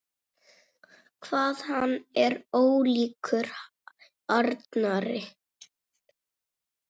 Hvað hann er ólíkur Arnari!